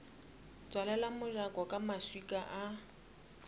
tswalela mojako ka maswika a